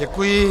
Děkuji.